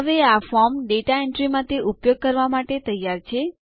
હવે આ form data entry માટે ઉપયોગ કરવા માટે તૈયાર છે